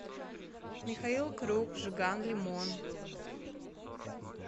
михаил круг жиган лимон